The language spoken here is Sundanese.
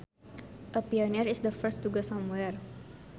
A pioneer is the first to go somewhere